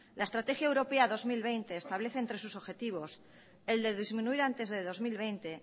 la estrategia europea dos mil veinte establece entre sus objetivos el de disminuir antes de dos mil veinte